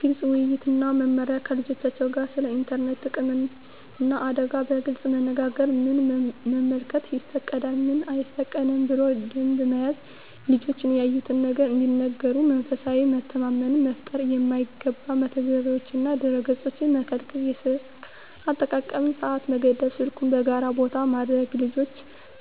ግልፅ ውይይት እና መመሪያ ከልጆቻቸው ጋር ስለ ኢንተርኔት ጥቅምና አደጋ በግልፅ መነጋገር ምን መመልከት ይፈቀዳል፣ ምን አይፈቀድም ብሎ ደንብ መያዝ ልጆች ያዩትን ነገር እንዲነግሩ መንፈሳዊ መተማመን መፍጠር የማይገባ መተግበሪያዎችንና ድረ-ገፆችን መከልከል የስልክ አጠቃቀም ሰዓት መገደብ ስልኩን በጋራ ቦታ ማድረግ ልጆች